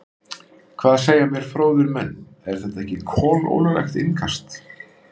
Hvað segja mér fróðir menn, er þetta ekki kolólöglegt innkast?